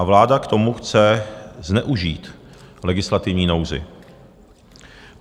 A vláda k tomu chce zneužít legislativní nouzi.